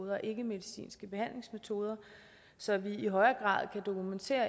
ikkemedicinske behandlingsmetoder så vi i højere grad kan dokumentere